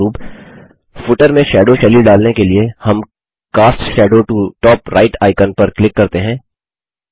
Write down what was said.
उदाहरणस्वरूप फुटर में शैडो शैली डालने के लिए हम cast shadow to top right icon पर क्लिक करते हैं